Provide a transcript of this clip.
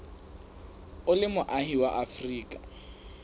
o le moahi wa afrika